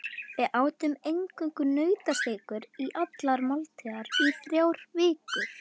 Við átum eingöngu nautasteikur í allar máltíðir í þrjár vikur.